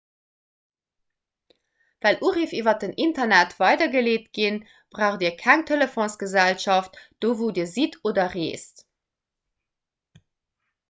well uriff iwwer den internet weidergeleet ginn braucht dir keng telefonsgesellschaft do wou dir sidd oder reest